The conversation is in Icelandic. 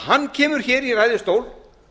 hann kemur hér í ræðustól